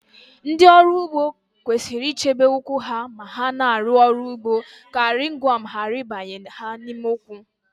Ndị ọrụ ugbo kwesịrị ichebe ụkwụ ha ma ha na-arụ ọrụ ugbo ka rịngwọm ghara ịbanye ha n'ime ụkwụ